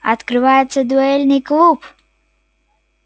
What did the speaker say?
открывается дуэльный клуб